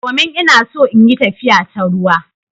Domin ina so in yi tafiya ta ruwa.